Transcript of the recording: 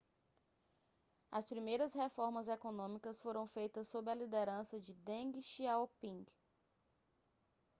as primeiras reformas econômicas foram feitas sob a liderança de deng xiaoping